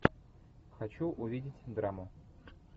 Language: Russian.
хочу увидеть драму